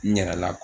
N yɛrɛ la